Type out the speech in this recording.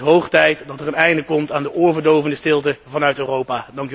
Het wordt hoog tijd dat er een einde komt aan de oorverdovende stilte vanuit Europa.